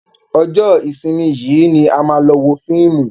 Ọjọ́ ìsinmi yìí ni a máa lọ wo fíìmù.